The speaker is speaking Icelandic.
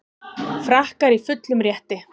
Frakkar í fullum rétti